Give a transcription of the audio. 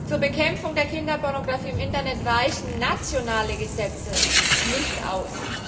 Zur Bekämpfung der Kinderpornografie im Internet reichen nationale Gesetze nicht aus.